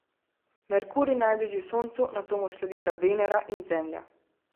Merkur je najbližji Soncu, nato mu sledita Venera in Zemlja.